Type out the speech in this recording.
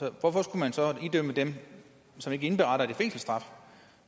og hvorfor skulle man så idømme dem som ikke indberetter det en fængselsstraf